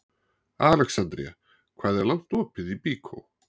Alexandría, hvað er lengi opið í Byko?